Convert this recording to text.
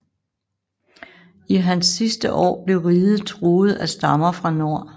I hans sidste år blev riget truet af stammer fra nord